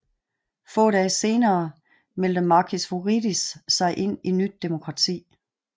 Få dage senere meldte Makis Voridis sig ind i Nyt demokrati